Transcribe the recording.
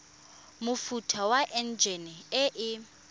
mofuta wa enjine e e